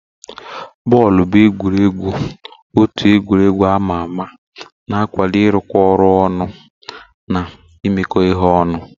Bọọlụ bụ egwuregwu otu egwuregwu ama ama na-akwado ịrụkọ ọrụ ọnụ na imekọ ihe ọnụ.